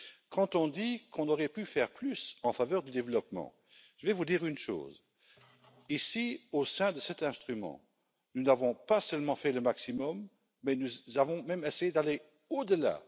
Quand on dit qu'on aurait pu faire plus en faveur du développement, je vais vous dire une chose ici, au sein de cet instrument, nous n'avons pas seulement fait le maximum, mais nous avons même essayé d'aller au delà.